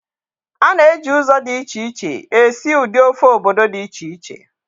A na-eji ụzọ dị iche iche esi ụdị ofe obodo dị iche iche